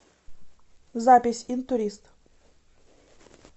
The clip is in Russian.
запись интурист